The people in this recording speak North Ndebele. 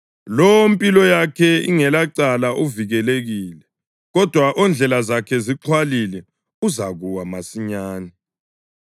Lowo ompilo yakhe ingelacala uvikelekile, kodwa ondlela zakhe zixhwalile uzakuwa masinyane.